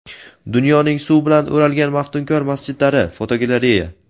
Dunyoning suv bilan o‘ralgan maftunkor masjidlari (fotogalereya).